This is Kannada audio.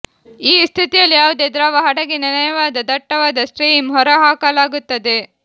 ಈ ಸ್ಥಿತಿಯಲ್ಲಿ ಯಾವುದೇ ದ್ರವ ಹಡಗಿನ ನಯವಾದ ದಟ್ಟವಾದ ಸ್ಟ್ರೀಮ್ ಹೊರಹಾಕಲಾಗುತ್ತದೆ